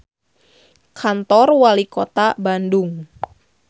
Loba rumaja ulin ka Kantor Walikota Bandung